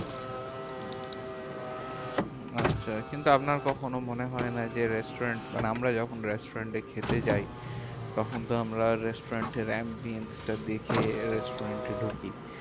উম আচ্ছা, কিন্তু আপনার কখনো মনে হয় না যে, restaurant মানে আমরা যখন restaurant এ খেতে যাই, তখন তো আমরা restaurant এর ambience টা দেখে restaurant এ ঢুকি।